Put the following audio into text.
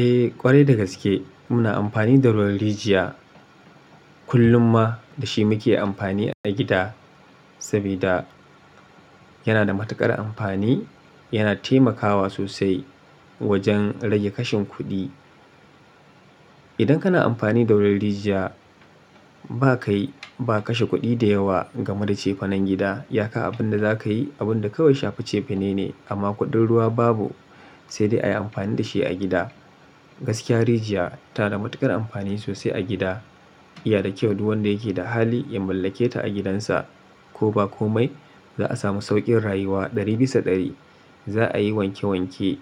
Eh ƙwarai dagaske muna amfani da ruwan rijiya kullum ma dashi muke amfani a gida sabida yana da matuƙar amfani yana taimakawa sosai wajan rage kashin kuɗi. Idan kana amfani da rol rijiya ba kai, ba kashe kuɗi da yawa game da cefanen gida. Iya ka abinda zakayi abunda kawai shafi cefene ne amma kuɗin ruwa babu sai dai ayi amfani dashi a gida. Gaskiya rijiya tana da matuƙar amfani sosai a gida. Iya da kyau duk wanda yake da hali ya mallake ta a gidansa ko ba komai za a samu sauƙin rayuwa ɗari bisa ɗari. Za a yi wanke wanke